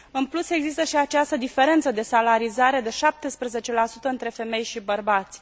În plus, există și această diferență de salarizare de 17 între femei și bărbați.